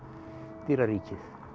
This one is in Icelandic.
dýraríkið